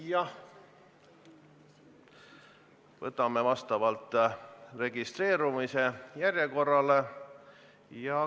Siiski, võtame vastavalt registreerumise järjekorrale.